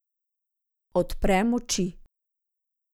Odprem oči.